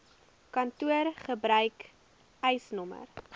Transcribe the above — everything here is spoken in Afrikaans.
kantoor gebruik eisnr